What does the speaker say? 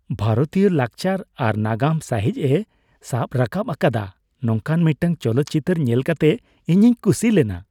ᱵᱷᱟᱨᱚᱛᱤᱭᱟᱹ ᱞᱟᱠᱪᱟᱨ ᱟᱨ ᱱᱟᱜᱟᱢ ᱥᱟᱹᱦᱤᱡᱼᱮ ᱥᱟᱵ ᱨᱟᱠᱟᱵ ᱟᱠᱟᱫᱟ ᱱᱚᱝᱠᱟᱱ ᱢᱤᱫᱴᱟᱝ ᱪᱚᱞᱚᱛ ᱪᱤᱛᱟᱹᱨ ᱧᱮᱞ ᱠᱟᱛᱮ ᱤᱧᱤᱧ ᱠᱩᱥᱤ ᱞᱮᱱᱟ ᱾